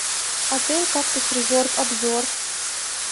отель кактус резорт обзор